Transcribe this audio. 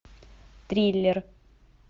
триллер